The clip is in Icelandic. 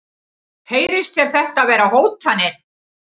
Heyrist þér þetta vera hótanir?